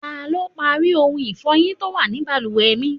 Ta lọ parí ohun ifọyin tó wà ní bàlùwẹ̀ mi?